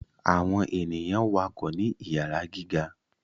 Awọn ènìyàn wakọ ni iyara gíga